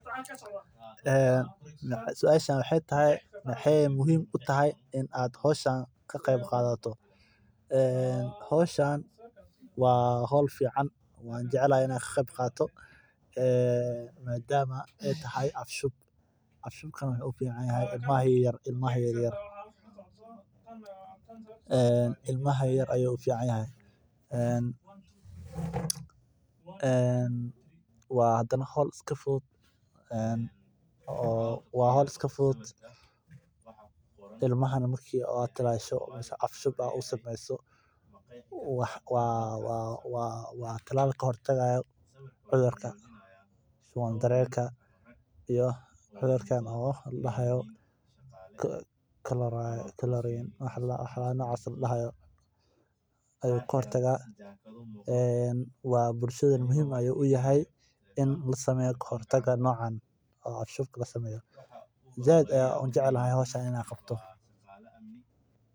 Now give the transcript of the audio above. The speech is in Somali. Howshan waa fiican, waan jeclahay inaan ka qayb qaato, maadaama ay tahay af-shub. Ilmaha yaryar ayey u fiican tahay, waa hawl fudud. Ilmaha marka la tallaalo waa tallaal ka hortagaya cudurro. Bulshada waa muhiim u tahay in ka hortag la sameeyo. Si weyn ayaan u jeclahay.